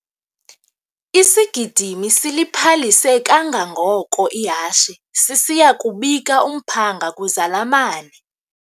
Isigidimi siliphalise kangangoko ihashe sisiya kubika umphanga kwizalamane.